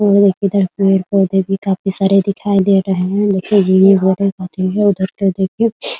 और देखिये इधर पेड़-पौधे भी काफी सारे दिखाई दे रहे है उधर पे देखिये --